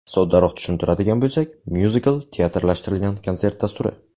Soddaroq tushuntiradigan bo‘lsak, myuzikl teatrlashtirilgan konsert dasturi.